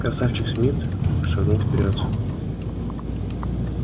красавчик смит шагнул вперёд